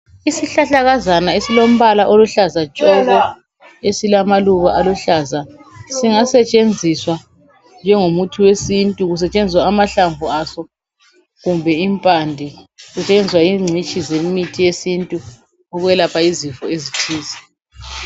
Isihlahlakazana esilombala oluhlaza tshoko esilamaluba aluhlaza singasetshenziswa njengomuthi wesintu kusetshenziswa amahlamvu aso kumbe impande iyenza yingcitshi zemithi yesintu ukwelapha izifo ezihlezi